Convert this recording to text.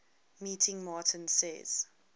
meeting martin says